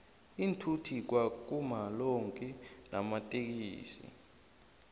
iinthuthi kwa kuma lonki namatsikixi